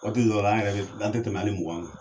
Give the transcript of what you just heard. Waati dɔw la an yɛrɛ bɛ an te tɛmɛ hali mugan kan.